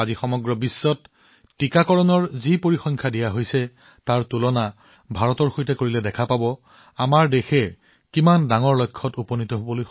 আজিৰ বিশ্বত টীকাকৰণৰ পৰিসংখ্যাক ভাৰতৰ সৈতে তুলনা কৰি এনে লাগে যে দেশখনে এনে এক অভূতপূৰ্ব কাম প্ৰাপ্ত কৰিছে ই কি ডাঙৰ লক্ষ্য প্ৰাপ্ত কৰিছে